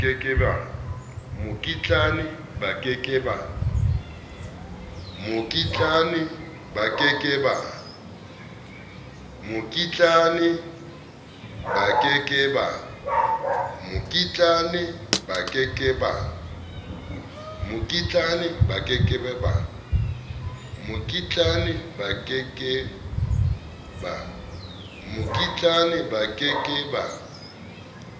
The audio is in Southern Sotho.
mokitlane ba ke ke ba